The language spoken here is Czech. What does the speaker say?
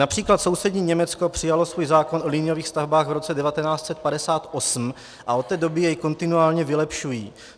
Například sousední Německo přijalo svůj zákon o liniových stavbách v roce 1958 a od té doby jej kontinuálně vylepšují.